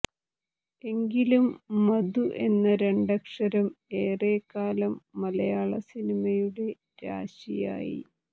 എങ്കിലും മധു എന്ന രണ്ടക്ഷരം ഏറക്കാലം മലയാള സിനിമയുടെ രാശിയായി